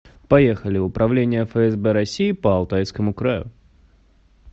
поехали управление фсб россии по алтайскому краю